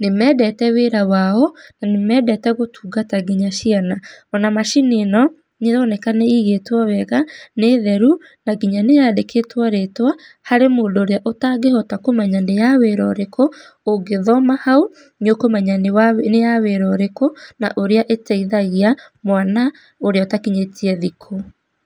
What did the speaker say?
nĩ mendete wĩra wao na mendete gũtungata nginya ciana. Ona macini ĩno nĩ ĩroneka nĩ ĩigĩtwo wega, nĩ theru na nginya nĩ yandĩkĩtwo rĩtwa harĩ mũndũ ũrĩa ũtangĩhota kũmenya nĩ ya wĩra ũrĩkũ, ũngĩthoma hau nĩ ũkũmenya nĩ ya wĩra ũrĩkũ, na ũrĩa ĩteithagia mwana ũrĩa ũtakinyĩtie thikũ.